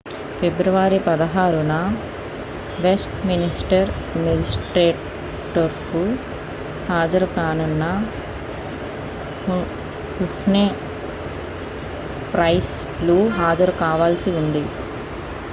ఫిబ్రవరి 16న Westminster మేజిస్ట్రేట్కోర్టులో హాజరు కానున్న హుహ్నే ప్రైస్ లు హాజరు కావాల్సి ఉంది